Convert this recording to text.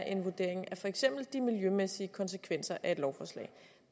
en vurdering af de miljømæssige konsekvenser af et lovforslag